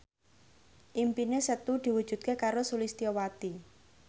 impine Setu diwujudke karo Sulistyowati